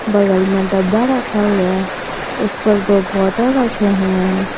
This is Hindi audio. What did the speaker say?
बगल में डब्बा रखा हुआ है उस पर दो बॉटल रखे हुए हैं।